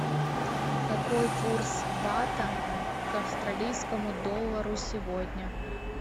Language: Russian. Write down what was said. какой курс бата к австралийскому доллару сегодня